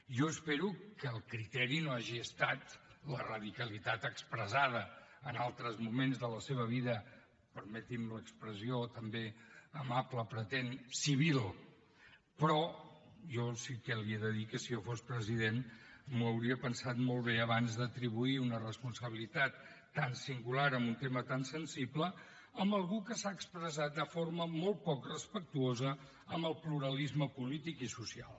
jo espero que el criteri no hagi estat la radicalitat expressada en altres moments de la seva vida permeti’m l’expressió també amable pretén civil però jo sí que li he de dir que si jo fos president m’hi hauria pensat molt bé abans d’atribuir una responsabilitat tan singular en un tema tan sensible a algú que s’ha expressat de forma molt poc respectuosa amb el pluralisme polític i social